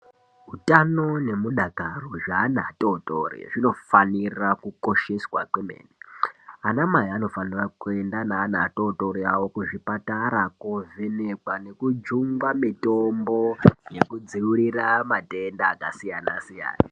Utano nemudakaro zveana atotori zvinofanira kukosheswa kwemene ana mai vanofanire kuenda neana atotori avo kuzvipatara kovhenekwa nekujungwa mitombo yekudzivirira matenda akasiyana siyana.